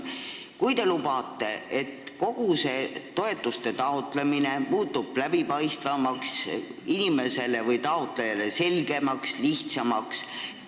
Te lubate, et kogu see toetuste taotlemine muutub läbipaistvamaks, taotlejale selgemaks ja lihtsamaks.